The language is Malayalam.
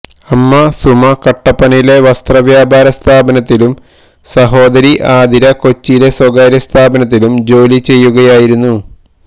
അമ്മ സുമ കട്ടപ്പനയിലെ വസ്ത്രവ്യാപാരസ്ഥാപനത്തിലും സഹോദരി ആതിര കൊച്ചിയിലെ സ്വകാര്യ സ്ഥാപനത്തിലും ജോലി ചെയ്യുകയായിരുന്നു